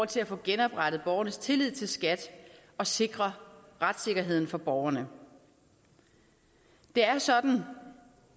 til at få genoprettet borgernes tillid til skat og sikre retssikkerheden for borgerne det er jo sådan